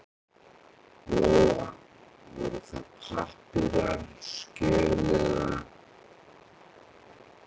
Lóa: Voru það pappírar, skjöl eða?